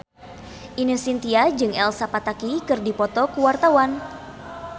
Ine Shintya jeung Elsa Pataky keur dipoto ku wartawan